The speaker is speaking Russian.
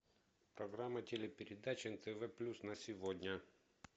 программа телепередач нтв плюс на сегодня